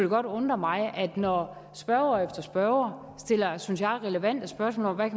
godt undre mig at når spørger efter spørger stiller synes jeg relevante spørgsmål om hvad